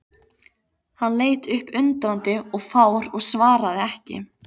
Hann leit upp undrandi og fár og svaraði ekki.